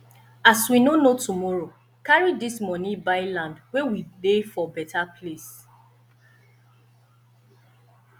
as we no know tomorrow carry dis moni buy land wey dey for beta place